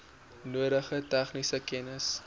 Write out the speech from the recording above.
nodige tegniese kennis